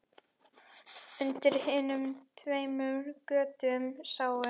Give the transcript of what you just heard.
Undir hinum tveimur götunum sátu